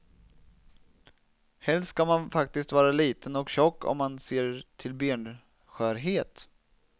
Helst ska man faktiskt vara liten och tjock om man ser till benskörhet.